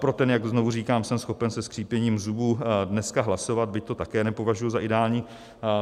Pro ten, jak znovu říkám, jsem schopen se skřípěním zubů dneska hlasovat, byť to také nepovažuji za ideální.